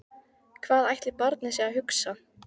Hvað ætli barnið sé að hugsa?